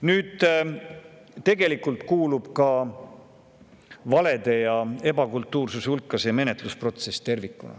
Nüüd, tegelikult kuulub valede ja ebakultuursuse hulka ka see menetlusprotsess tervikuna.